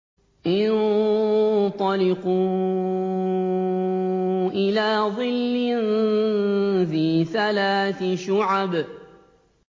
انطَلِقُوا إِلَىٰ ظِلٍّ ذِي ثَلَاثِ شُعَبٍ